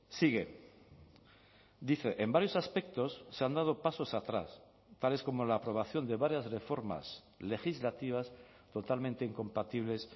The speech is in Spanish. sigue dice en varios aspectos se han dado pasos atrás tales como la aprobación de varias reformas legislativas totalmente incompatibles